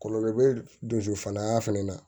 Kɔlɔlɔ bɛ don so fana na